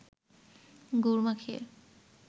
গুড় মাখিয়ে